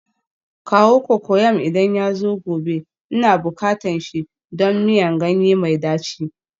Kawo cocoyam idan yazo gobe, Ina bukatan shi don miyan ganye mai daci